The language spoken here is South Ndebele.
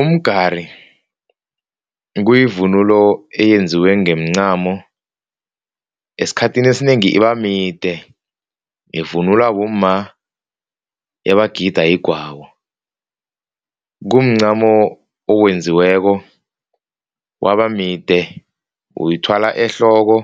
Umgari kuyivunulo eyenziwe ngeemncamo. Esikhathini esinengi ibamide. Ivunulwa bomma nabagida igwabo. Kumncamo owenziweko wabamide. Uyithwala ehloko